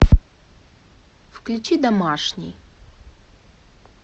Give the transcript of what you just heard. включи домашний